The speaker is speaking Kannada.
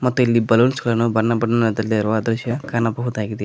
ಮತ್ತು ಇಲ್ಲಿ ಬಲೂನ್ಸ್ ಗಳನ್ನು ಬಣ್ಣ ಬಣ್ಣದಲ್ಲಿ ಇರುವ ದೃಶ್ಯ ಕಾಣಬಹುದಾಗಿದೆ.